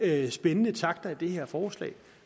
er spændende takter i det her forslag